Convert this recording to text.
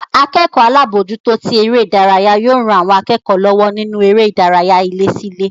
Akẹ́kọ̀ọ́ alábòójútó tí eré ìdárayá yóò ran àwọn akẹ́kọ̀ọ́ lọ́wọ́ nínú eré ìdárayá ilé sí ilé